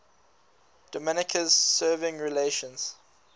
dominica's severing relations